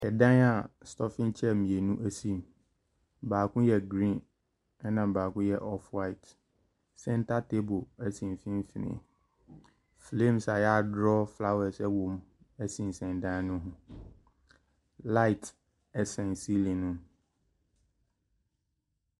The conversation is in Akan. Ɛdan a stɔfen chair mmienu si mu. Baako yɛ green, na baako yɛ off-white. Center table si mfimfini. Flames a yɛadraw flowers wɔ mu sensɛn dan no mu. Light sɛn siilim no mu.